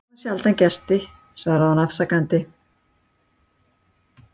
Við fáum sjaldan gesti svaraði hún afsakandi.